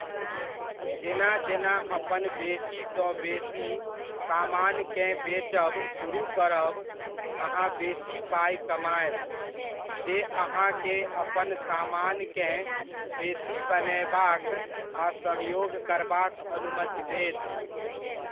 जेना जेना अपन बेसी सँ बेसी समानकेँ बेचब सुरुह करब, अहाँ बेसी पाइ कमायब, जे अहाँकेँ अपन समानकेँ बेसी बनयबाक आ सहयोग करबाक अनुमति देत।